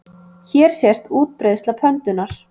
Hér sést útbreiðsla pöndunnar.